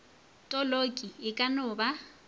toloki e ka no ba